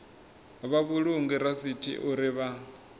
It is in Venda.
vha vhulunge rasithi uri vha